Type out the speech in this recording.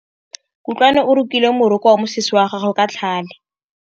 Kutlwanô o rokile morokô wa mosese wa gagwe ka tlhale.